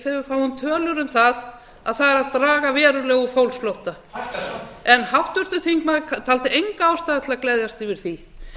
þegar við fáum tölur um það að það er að draga verulega úr fólksflótta hækkar samt háttvirtur þingmaður taldi enga ástæðu til að gleðjast yfir því